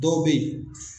Dɔw bɛ ye